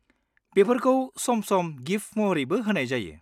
बेफोरखौ सम-सम गिफ्ट महरैबो होनाय जायो।